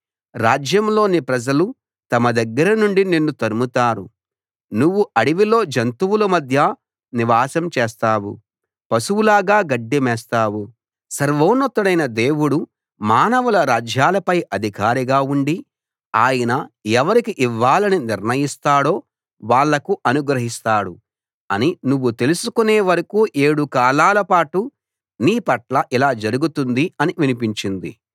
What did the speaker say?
రాజ్యంలోని ప్రజలు తమ దగ్గర నుండి నిన్ను తరుముతారు నువ్వు అడవిలో జంతువుల మధ్య నివాసం చేస్తావు పశువులాగా గడ్డి మేస్తావు సర్వోన్నతుడైన దేవుడు మానవుల రాజ్యాలపై అధికారిగా ఉండి ఆయన ఎవరికి ఇవ్వాలని నిర్ణయిస్తాడో వాళ్లకు అనుగ్రహిస్తాడు అని నువ్వు తెలుసుకునే వరకూ ఏడు కాలాలపాటు నీ పట్ల ఇలా జరుగుతుంది అని వినిపించింది